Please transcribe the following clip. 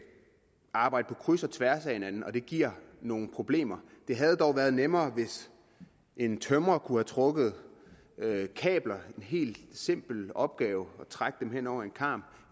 arbejde på kryds og tværs af hinanden giver nogle problemer det havde dog været nemmere hvis en tømrer kunne have trukket kabler en helt simpel opgave hen over en karm